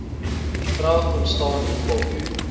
vraag ontstaan hoekom